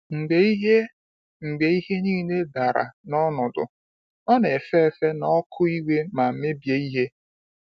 Mgbe ihe Mgbe ihe niile dara n’ọnọdụ, ọ na-efe efe n’ọkụ iwe ma mebie ihe.